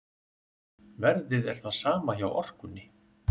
Verðið er það sama hjá Orkunni